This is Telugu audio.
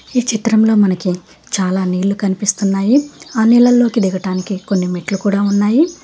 ఈ చిత్రంలో మనకి చాలా నీళ్లు కనిపిస్తున్నాయి ఆ నీళ్లలోకి దిగటానికి కొన్ని మెట్లు కూడ ఉన్నాయి.